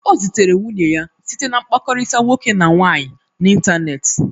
O zutere nwunye ya site na mkpakọrịta nwoke na nwaanyị n'ịntanetị.